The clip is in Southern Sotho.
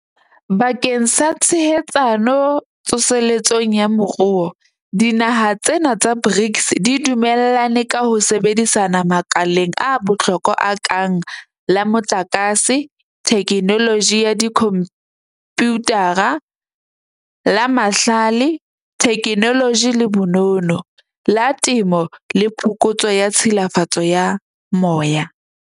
Bakeng sa tshehetsano tso seletsong ya moruo, dinaha tsena tsa BRICS di dumellane ka ho sebedisana makaleng a bohlokwa a kang la motlakase, thekenoloji ya dikhomputara, la mahlale, thekenoloji le bonono, la temo le phokotso ya tshilafalo ya moya.